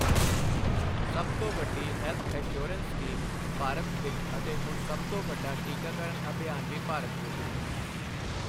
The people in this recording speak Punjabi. ਸਭ ਤੋਂ ਵੱਡੀ ਹੈਲਥ ਐਸ਼ਯੋਰੈਂਸ ਸਕੀਮ ਭਾਰਤ ਵਿੱਚ ਅਤੇ ਹੁਣ ਸਭ ਤੋਂ ਵੱਡਾ ਟੀਕਾਕਰਨ ਅਭਿਯਾਨ ਵੀ ਭਾਰਤ ਵਿੱਚ।